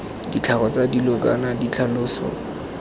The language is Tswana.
ditlhogo tsa dilo kana ditlhaloso